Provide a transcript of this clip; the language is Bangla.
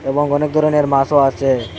এবং অনেক ধরনের মাছও আছে।